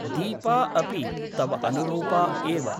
दीपा अपि तव अनुरूपा एव ।